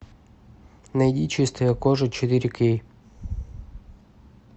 найди чистая кожа четыре кей